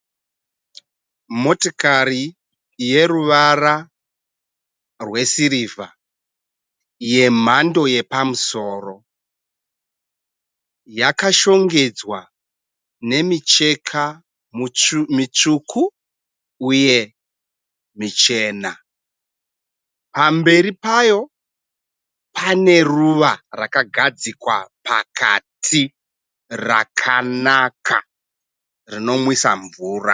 Motikari yeruvara rwesirivha yemhando yepamusoro. Yakashongedzwa nemicheka mitsvuku uye michena. Pamberi payo pane ruva rakagadzikwa pakati, rakanaka, rinonwisa mvura.